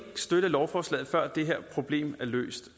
støtte lovforslaget før det her problem er løst